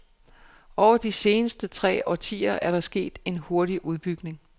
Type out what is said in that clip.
Over de seneste tre årtier er der sket en hurtig udbygning.